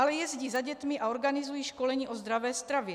Ale jezdí za dětmi a organizují školení o zdravé stravě.